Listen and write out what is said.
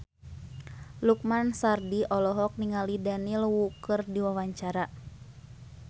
Lukman Sardi olohok ningali Daniel Wu keur diwawancara